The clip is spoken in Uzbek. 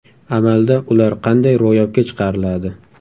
Amalda ular qanday ro‘yobga chiqariladi?